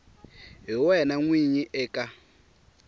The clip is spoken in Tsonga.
hi wena n winyi eka